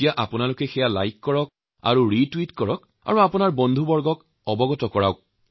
আপোনালোকে সেইবোৰ লাইক কৰি ৰিটুইট কৰি আপোনালোকৰ চিনাকী লোকসকলৰ মাজত প্ৰচাৰ কৰিছে